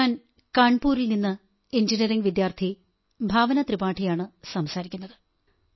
ഞാൻ കാൺപൂരിൽ നിന്ന് എഞ്ചിനീയറിംഗ് വിദ്യാർഥി ഭാവനാ ത്രിപാഠിയാണു സംസാരികുന്നത്